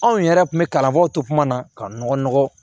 Anw yɛrɛ kun bɛ kalanko to kuma na ka nɔgɔ